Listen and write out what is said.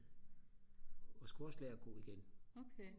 og skulle også lære at gå igen